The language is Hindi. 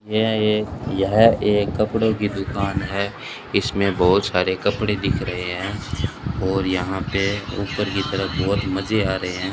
यह एक यह एक कपड़ों की दुकान है इसमें बहुत सारे कपड़े दिख रहे हैं और यहां पे ऊपर की तरफ बहुत मजे आ रहे हैं।